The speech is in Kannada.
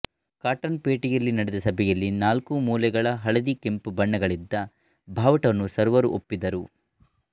ಕಾಟನ್ಪೇಟೆಯಲ್ಲಿ ನಡೆದ ಸಭೆಯಲ್ಲಿ ನಾಲ್ಕು ಮೂಲೆಗಳ ಹಳದಿ ಕೆಂಪು ಬಣ್ಣಗಳಿದ್ದ ಬಾವುಟವನ್ನು ಸರ್ವರೂ ಒಪ್ಪಿದ್ದರು